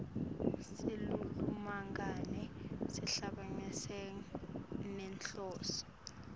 silulumagama sihambisana nenhloso